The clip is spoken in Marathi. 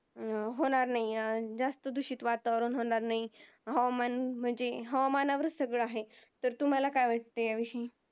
अं होणार नाही अह जास्त दूषित वातावरण होणार नाही हवामान म्हणजे हवामानावरच सगळं आहे, तर तुम्हाला काय वाटतंय या विषयी?